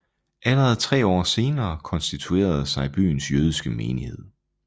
Allerede tre år senere konstituerede sig byens jødiske menighed